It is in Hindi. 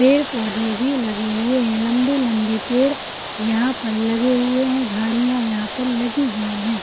पेड़-पौधे भी लगे हुए हैं लंबे-लंबे पेड़ यहाँ पर लगे हुए हैं झाड़ियाँ यहाँ पर लगी हुई हैं।